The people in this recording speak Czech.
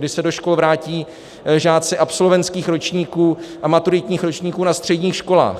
Kdy se do škol vrátí žáci absolventských ročníků a maturitních ročníků na středních školách.